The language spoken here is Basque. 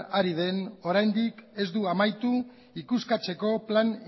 ari den oraindik ez du amaitu ikuskatzeko plan